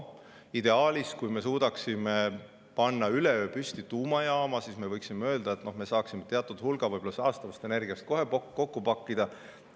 Ideaalis, kui me suudaksime panna üleöö püsti tuumajaama, me võiksime öelda, et me saaksime teatud hulga saastavast energia kohe kokku pakkida.